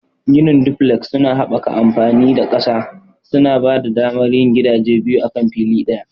Ginin duflek suna haɓaka amfani da ƙasa, suna ba da damar yin gidaje biyu akan fili ɗaya.